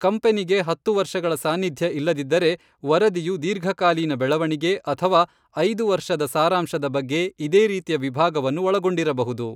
ಕಂಪನಿಗೆ ಹತ್ತು ವರ್ಷಗಳ ಸಾನ್ನಿಧ್ಯ ಇಲ್ಲದಿದ್ದರೆ, ವರದಿಯು "ದೀರ್ಘಕಾಲೀನ ಬೆಳವಣಿಗೆ" ಅಥವಾ "ಐದು ವರ್ಷದ ಸಾರಾಂಶ"ದ ಬಗ್ಗೆ ಇದೇ ರೀತಿಯ ವಿಭಾಗವನ್ನು ಒಳಗೊಂಡಿರಬಹುದು.